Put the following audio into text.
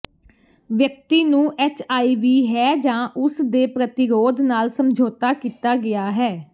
ਵਿਅਕਤੀ ਨੂੰ ਐੱਚਆਈਵੀ ਹੈ ਜਾਂ ਉਸ ਦੇ ਪ੍ਰਤੀਰੋਧ ਨਾਲ ਸਮਝੌਤਾ ਕੀਤਾ ਗਿਆ ਹੈ